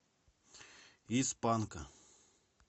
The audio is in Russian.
из панка